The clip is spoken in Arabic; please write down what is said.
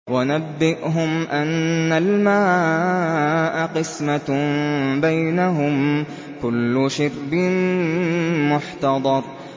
وَنَبِّئْهُمْ أَنَّ الْمَاءَ قِسْمَةٌ بَيْنَهُمْ ۖ كُلُّ شِرْبٍ مُّحْتَضَرٌ